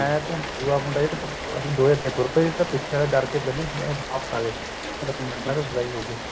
ਦੁਹਾ ਮੁੰਡਾ ਅੱਸੀ ਦੋਵੇ ਅੱਗੇ ਤੁਰ ਪਏ ਪਿਛੇ ਆਲਾ ਡਰ ਕੇ ਪਹਿਲੇ ਹੀ ਵਾਪਿਸ ਆ ਗਿਆ